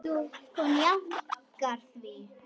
Hún jánkar því.